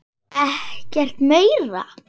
Ekkert meira?